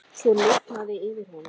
Svo lifnaði yfir honum.